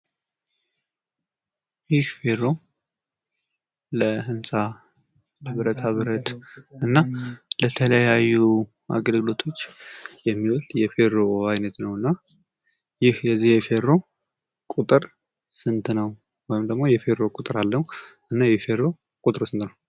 ይህ ፌሮ ለብረታ ብረት እና ለተለያዩ አገልግሎቶች የሚውል የፌሮ አይነት ነው። የዚህ የፌሮ ቁጥር ስንት ነው ?